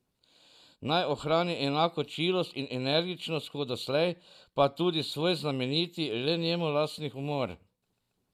Naj ohrani enako čilost in energičnost kot doslej, pa tudi svoj znameniti, le njemu lastni humor!